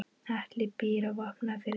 Atli býr á Vopnafirði.